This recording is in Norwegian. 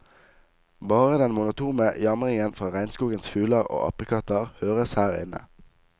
Bare den monotone jamringen fra regnskogens fugler og apekatter høres her inne.